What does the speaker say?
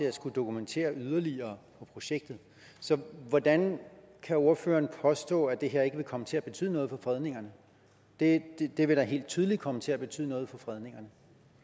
at skulle dokumentere yderligere for projektet så hvordan kan ordføreren påstå at det her ikke vil komme til at betyde noget for fredningerne det det vil da helt tydeligt komme til at betyde noget for fredningerne